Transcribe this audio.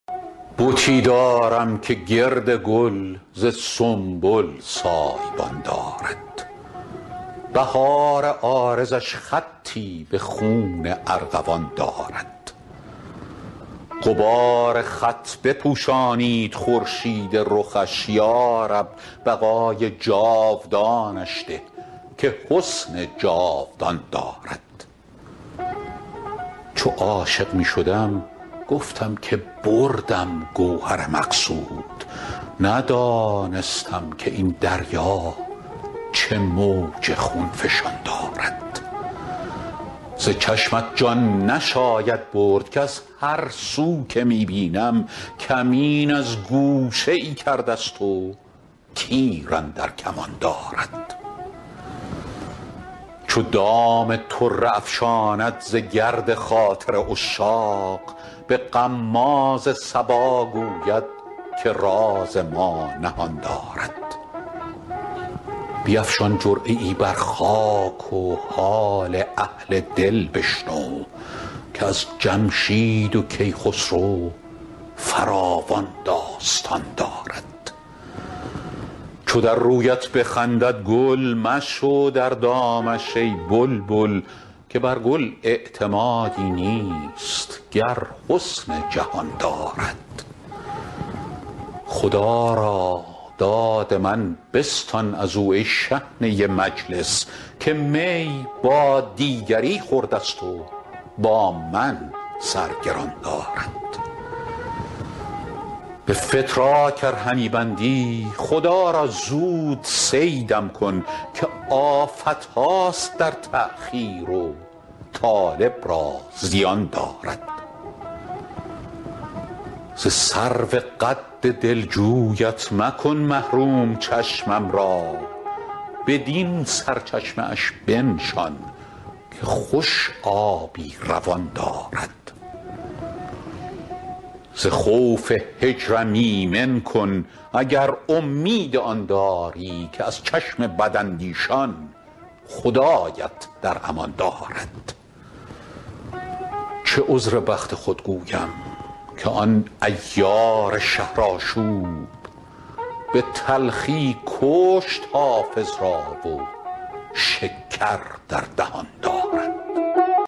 بتی دارم که گرد گل ز سنبل سایه بان دارد بهار عارضش خطی به خون ارغوان دارد غبار خط بپوشانید خورشید رخش یا رب بقای جاودانش ده که حسن جاودان دارد چو عاشق می شدم گفتم که بردم گوهر مقصود ندانستم که این دریا چه موج خون فشان دارد ز چشمت جان نشاید برد کز هر سو که می بینم کمین از گوشه ای کرده ست و تیر اندر کمان دارد چو دام طره افشاند ز گرد خاطر عشاق به غماز صبا گوید که راز ما نهان دارد بیفشان جرعه ای بر خاک و حال اهل دل بشنو که از جمشید و کیخسرو فراوان داستان دارد چو در رویت بخندد گل مشو در دامش ای بلبل که بر گل اعتمادی نیست گر حسن جهان دارد خدا را داد من بستان از او ای شحنه مجلس که می با دیگری خورده ست و با من سر گران دارد به فتراک ار همی بندی خدا را زود صیدم کن که آفت هاست در تأخیر و طالب را زیان دارد ز سرو قد دلجویت مکن محروم چشمم را بدین سرچشمه اش بنشان که خوش آبی روان دارد ز خوف هجرم ایمن کن اگر امید آن داری که از چشم بداندیشان خدایت در امان دارد چه عذر بخت خود گویم که آن عیار شهرآشوب به تلخی کشت حافظ را و شکر در دهان دارد